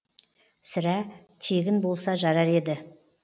сірә тегін болса жарар еді